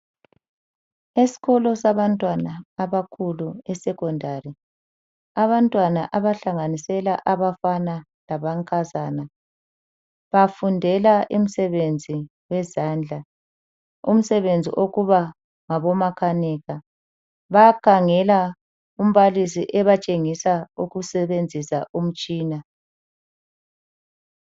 Esikolo sabantwana abakhulu eSecondary. Abantwana abahlanganisela abafana lamankazana bafundela umsebenzi wezandla. Umsebenzi okuba ngabomakanika. Bayakhangela umbalisi ebatshengisa ukusebenzisa umtshina.